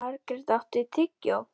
Margrjet, áttu tyggjó?